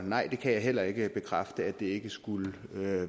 nej jeg kan heller ikke bekræfte at det ikke skulle